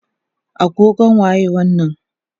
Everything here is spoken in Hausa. agogon waye wannan?